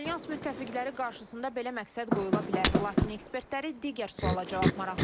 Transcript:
Alyans müttəfiqləri qarşısında belə məqsəd qoyula bilər, lakin ekspertləri digər suala cavab maraqlandırır.